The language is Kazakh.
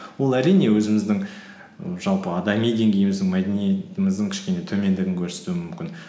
ол әрине өзіміздің і жалпы адами деңгейіміздің мәдени деңгейіміздің кішкене төмендігін көрсетуі мүмкін